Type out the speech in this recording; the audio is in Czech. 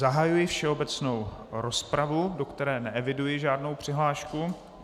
Zahajuji všeobecnou rozpravu, do které neeviduji žádnou přihlášku.